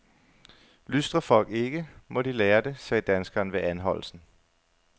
Lystrer folk ikke, må de lære det, sagde danskeren ved anholdelsen.